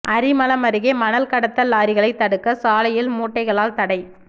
அரிமளம் அருகே மணல் கடத்தல் லாரிகளை தடுக்க சாலையில் மூட்டைகளால் தடை